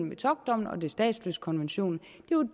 metockdommen og statsløsekonventionen